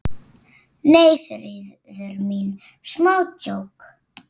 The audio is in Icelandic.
Nei, Þuríður mín, smá djók.